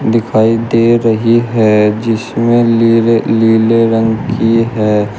दिखाई दे रही हैं जिसमें लीले नीले रंग की है।